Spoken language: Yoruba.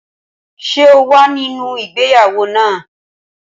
Ṣé o wà nínú ìgbéyàwó náà?